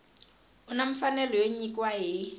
u na mfanelo yo nyikiwa